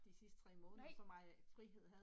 Nej!